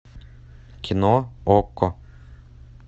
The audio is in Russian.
кино окко